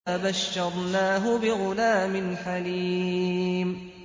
فَبَشَّرْنَاهُ بِغُلَامٍ حَلِيمٍ